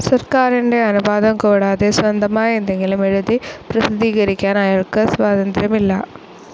സർക്കാരിന്റെ അനുവാദംകൂടാതെ സ്വന്തമായി എന്തെങ്കിലും എഴുതി പ്രസിദ്ധീകരിക്കാൻ അയാൾക്ക് സ്വാതന്ത്ര്യമില്ല.